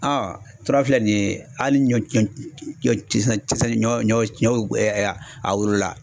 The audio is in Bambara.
Aa tora filɛ nin ye hali ɲɔ ti se ɲɔ ɲɔ a wolola